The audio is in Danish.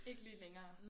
Ikke lige længere